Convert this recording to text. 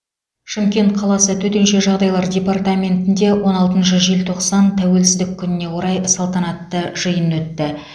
шымкент қаласы төтенше жағдайлар департаментінде он алтыншы желтоқсан тәуелсіздік күніне орай салтанатты жиын өтті